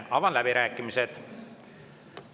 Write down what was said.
Avan läbirääkimised.